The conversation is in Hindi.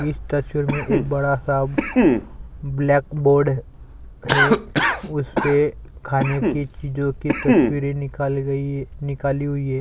इस तस्वीर में एक बड़ा-सा ब्लैक बोर्ड है उसपे खाने के चीज़ो की तस्वीरे निकाले गई निकाली हुई है।